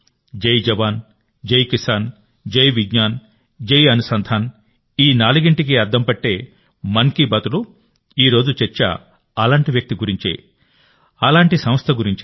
జై జవాన్ జై కిసాన్ జై విజ్ఞాన్ జై అనుసంధాన్ ఈ నాలుగింటికి అద్దం పట్టే మన్ కీ బాత్లో ఈరోజు చర్చ అలాంటి వ్యక్తి గురించే అలాంటి సంస్థ గురించే